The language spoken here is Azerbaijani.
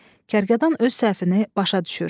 Kərkədan öz səhvini başa düşür.